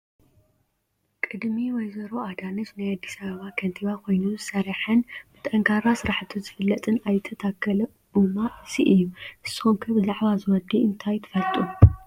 ቅድሚ ወ/ሮ ኣዳነች ናይ ኣዲስ ኣበባ ከንቲባ ኮይኑ ዝሰርሐን ብጠንካራ ስራሕቱ ዝፍለጥን ኣይተ ታከለ ኩማ አዚ እዩ፡፡ ንስኹም ከ ብዛዕባ እዚ ወዲ እንታይ ትፈልጡ?